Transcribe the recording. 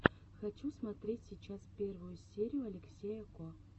хочу смотреть сейчас первую серию алексея ко